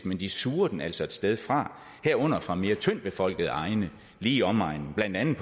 men de suger den altså et sted fra herunder fra mere tyndtbefolkede egne lige i omegnen blandt andet